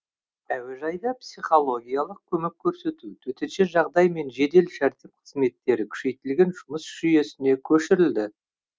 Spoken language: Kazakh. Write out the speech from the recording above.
әуежайда психологиялық көмек көрсету төтенше жағдай мен жедел жәрдем қызметтері күшейтілген жұмыс жүйесіне көшірілді